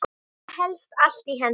Þetta helst allt í hendur.